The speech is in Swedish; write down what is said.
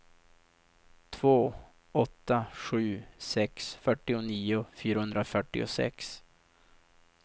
två åtta sju sex fyrtionio fyrahundrafyrtiosex